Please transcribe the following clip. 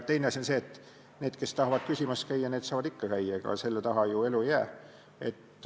Teine asi on see, et need, kes tahavad küsimas käia, saavad ikka käia, selle taha ju elu ei jää.